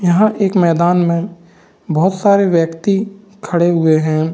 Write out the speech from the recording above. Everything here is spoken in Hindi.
यहाँ एक मैदान में बहुत सारे व्यक्ति खड़े हुए हैं।